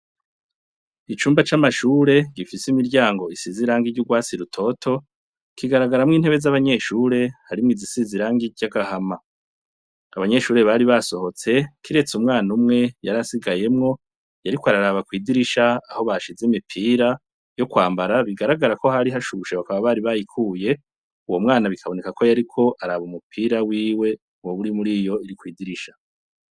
Icumba camashure gifise imiryango isize irangi ryurwatsi rutoto kigaragaramwo intebe zabanyeshure, harimwo iz isize irangi ryurwatsi rutoto kigaragaramwo intebe zabanyeshure harimwo izisize irangi ryagahama , abanyeshure bari basohotse kiretse umwana umwe yari asigayemwo yariko araraba kwidirisha aho bashize imipira yokwambara bigaragara ko hari hashushe bakaba bari bayikuye ,uwo mwana ataba umupira wiwe muriyo iri kwidirisha .